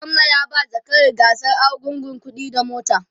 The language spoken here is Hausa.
gwamna ya ba zakaran gasar argungu kuɗi da mota